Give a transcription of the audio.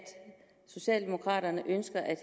socialdemokraterne ønsker at